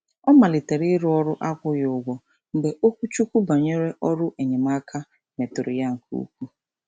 Ọ malitere iru ọrụ akwụghị ụgwọ mgbe okwuchukwu banyere ọrụ enyemaaka meturu ya nke ukwuu.